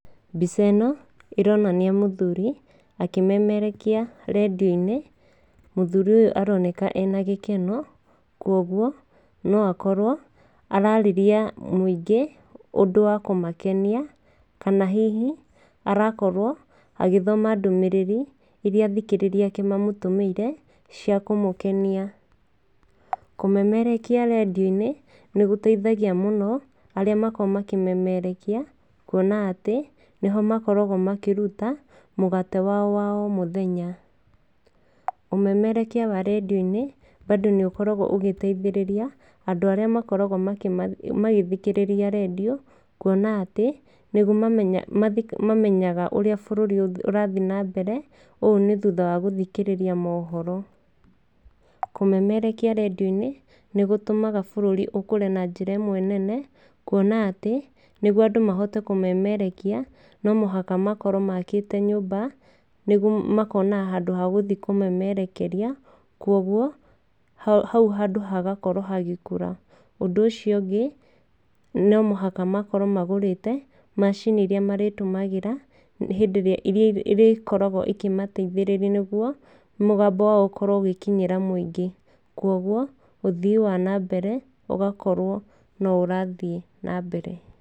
Mbica ĩno ĩronania mũthuri akĩmemerekia rendio-inĩ. Mũthuri ũyũ aroneka ena gĩkeno. Kwoguo no akorwo ararĩria mũingĩ ũndũ wa kũmakenia kana hihi arakorwo agĩthoma ndũmĩrĩri iria athikĩrĩria ake mamũtũmĩire cia kũmũkenia. Kũmemerekia rendio-inĩ nĩ gũteithagia mũno arĩa makoragwo makĩmemerekia na atĩ nĩ ho makoragwo makĩruta mũgate wao wa o mũthenya. Ũmemerekia wa rendio-inĩ mbandũ ni ũkoragwo ũgĩteithĩrĩria andũ arĩa makoragwo magĩthikĩrĩria rendio kuona atĩ nĩguo mamenyaga ũrĩa bũrũri ũrathiĩ na mbere, ũũ nĩ thutha wa guthikĩrĩria mohoro. Kũmemerekia rendio-inĩ nĩ gũtũmaga bũrũri ũkũre na njĩra ĩmwe nene kuona atĩ nĩguo andũ mahote kũmemerekia no mũhaka makorwo maakĩte nyũmba nĩguo makonaga handũ ha gũthiĩ kũmemerekeria kwoguo hau handũ hagakorwo hagĩkũra. Ũndũ ũcio ũngĩ, no mũhaka makorwo magũrĩte macini iria marĩtũmagĩra hĩndĩ ĩrĩa irĩkoragwo ikĩmateithĩrĩria nĩguo mũgambo wao ũkorwo ũgĩkinyĩra muingĩ. Kwoguo ũthii wa nambere ũgakorwo no ũrathiĩ na mbere.